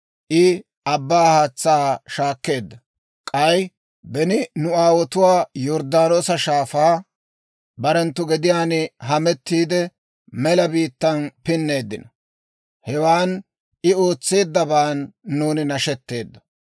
I abbaa haatsaa shaakeedda; k'ay beni nu aawotuu yorddaanoosa shaafaa, barenttu gediyaan hamettiide, mela biittaan pinneeddino. Hewan I ootseeddabaan nuuni nashetteeddo.